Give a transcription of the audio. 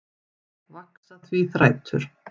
Vaxa því þrætur